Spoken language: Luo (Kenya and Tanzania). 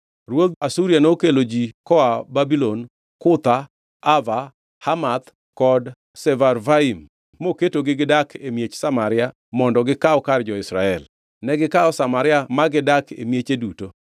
Ruodh Asuria nokelo ji koa Babulon, Kutha, Ava, Hamath kod Sefarvaim moketogi gidak e miech Samaria mondo gikaw kar jo-Israel. Negikawo Samaria ma gidak e mieche duto.